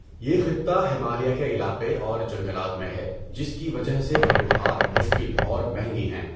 یہ خطہ ہمالیہ کے علاقے اور جنگلات میں ہے جس کی وجہ سے فتوحات مشکل اور مہنگی ہیں۔